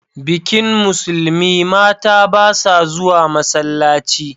Bikin Musulmi, mata ba sa zuwa masallaci.